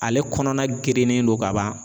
Ale kɔnɔna gerennen don ka ban.